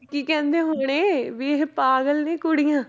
ਕੀ ਕਹਿੰਦੇ ਹੁਣੇ ਵੀ ਇਹ ਪਾਗਲ ਨੇ ਕੁੜੀਆਂ।